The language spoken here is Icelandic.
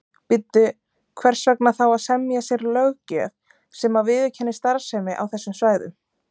Bíddu, hvers vegna þá að semja sér löggjöf sem að viðurkennir starfsemi á þessum svæðum?